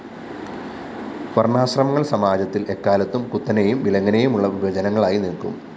വര്‍ണ്ണാശ്രമങ്ങള്‍ സമാജത്തില്‍ എക്കാലത്തും കുത്തനേയും വിലങ്ങനേയുമുള്ള വിഭജനങ്ങളായി നില്ക്കും